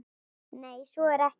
Nei, svo er ekki.